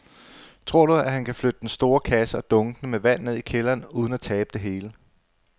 Tror du, at han kan flytte den store kasse og dunkene med vand ned i kælderen uden at tabe det hele?